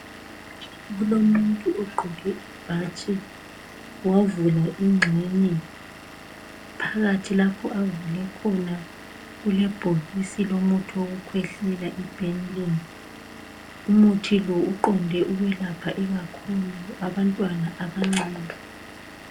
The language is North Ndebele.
Kulomuntu ogqoke ibhatshi wavula ingxenye phakathi lapho avule khona kulebhokisi lomuthi wokukhwehlela iBenylin umuthi lo uqonde ukwelapha ikakhulu abantwana abancane.